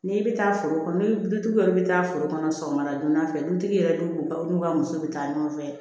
N'i bɛ taa foro kɔnɔ ni dutigi yɛrɛ bɛ taa foro kɔnɔ sɔgɔmada donna fɛ dutigi yɛrɛ dun ka n'u ka muso bɛ taa ɲɔgɔn fɛ